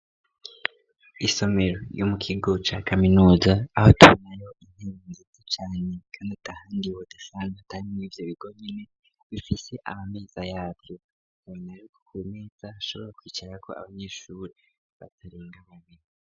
isomero y'umukigo ca kaminuza aho tubonayo intebe ngite canye kandi atahandi ibotesan atari muibyo bigonine bifise amameza yabyo nari nariko ku neza ashobora kwicara ko abanyeshuri batarenga babiri